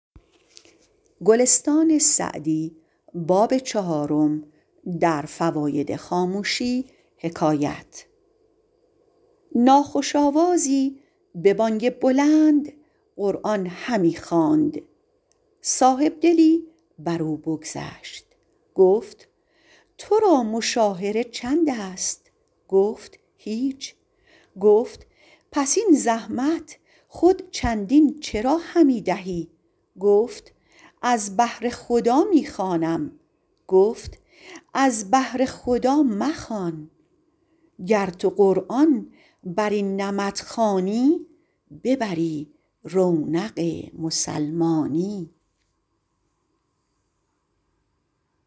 ناخوش آوازی به بانگ بلند قرآن همی خواند صاحبدلی بر او بگذشت گفت تو را مشاهره چند است گفت هیچ گفت پس این زحمت خود چندین چرا همی دهی گفت از بهر خدا می خوانم گفت از بهر خدا مخوان گر تو قرآن بر این نمط خوانی ببری رونق مسلمانی